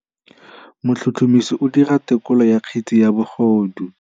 Motlhotlhomisi o dira têkolô ya kgetse ya bogodu.